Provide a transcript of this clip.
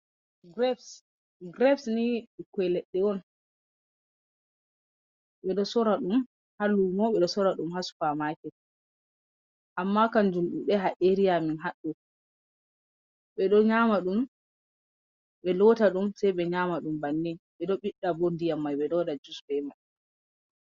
Grebs. Grebs ni ɓikkoi ledde on. Ɓe ɗo sora ɗum haa lumo, ɓe do sora ɗum haa supa maket. Amma kan jum ɗuɗai haa’eriya amen haɗɗo. Ɓe ɗo nyama ɗum, ɓe lota ɗum, sai ɓe nyama ɗum banni. Ɓe ɗo biɗɗa bo ndiyam mai, ɓe ɗo waɗa jus be mai.